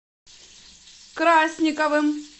красниковым